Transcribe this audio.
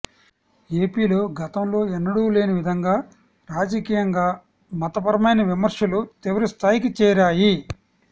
ఏపీలో గతంలో ఎన్నడూ లేని విధంగా రాజకీయంగా మతరపరమైన విమర్శలు తీవ్ర స్థాయికి చేరాయి